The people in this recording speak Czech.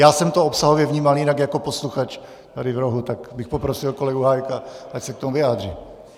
Já jsem to obsahově vnímal jinak jako posluchač tady v rohu, tak bych poprosil kolegu Hájka, ať se k tomu vyjádří.